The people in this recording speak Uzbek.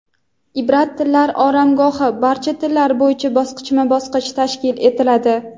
"Ibrat tillar oromgohi" barcha tillar bo‘yicha bosqichma-bosqich tashkil etiladi;.